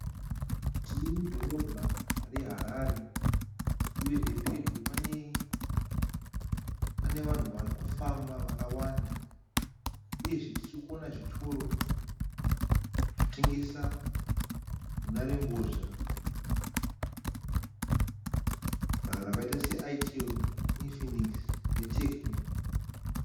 Tiri mudhorobha reHarare uyezve pedyo pane vanhu vari kufamba vakawanda uyezve tiri kuona zvitoro chinotengesa nharembozha rakaita seItel, Infix neTecno.